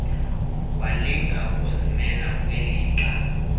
walinga ukuzimela kwilixa